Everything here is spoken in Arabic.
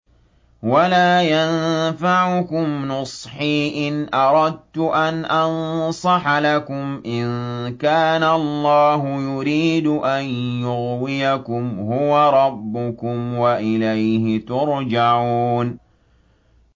وَلَا يَنفَعُكُمْ نُصْحِي إِنْ أَرَدتُّ أَنْ أَنصَحَ لَكُمْ إِن كَانَ اللَّهُ يُرِيدُ أَن يُغْوِيَكُمْ ۚ هُوَ رَبُّكُمْ وَإِلَيْهِ تُرْجَعُونَ